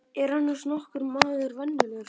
Er annars nokkur maður venjulegur?